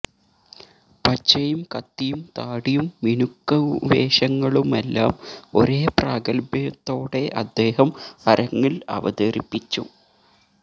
പച്ചയും കത്തിയും താടിയും മിനുക്കുവേഷങ്ങളുമെല്ലാം ഒരേ പ്രാഗൽഭ്യത്തോടെ അദ്ദേഹം അരങ്ങിൽ അവതരിപ്പിച്ചു